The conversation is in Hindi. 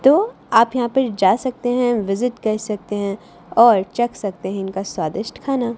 तो आप यहां पर जा सकते हैं विजिट कर सकते हैं और चख सकते हैं इनका स्वादिष्ट खाना।